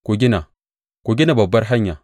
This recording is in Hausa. Ku gina, ku gina babbar hanya!